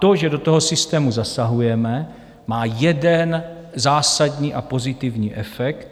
To, že do toho systému zasahujeme, má jeden zásadní a pozitivní efekt.